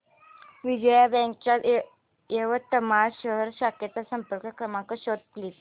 Vijaya Bank च्या यवतमाळ शहर शाखेचा संपर्क क्रमांक शोध प्लीज